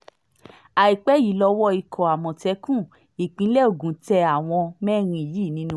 àìpẹ́ yìí lowó ikọ̀ àmọ̀tẹ́kùn ìpínlẹ̀ ogun tẹ àwọn mẹ́rin yìí nínú wọn